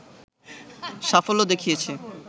সাফল্য দেখিয়েছে